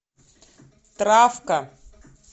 травка